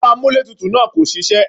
Ẹ̀rọ amúlétutù náà kò ṣiṣẹ́.